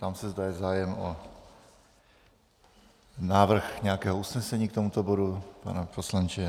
Ptám se, zda je zájem o návrh nějakého usnesení k tomuto bodu - pane poslanče?